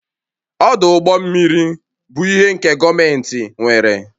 Ọdụ ụgbọ mmiri bụ ihe nke gọọmentị nwere